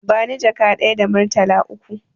Bani jaka ɗaya da murtala uku